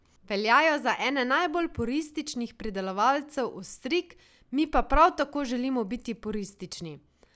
Veljajo za ene najbolj purističnih pridelovalcev ostrig, mi pa prav tako želimo biti puristični.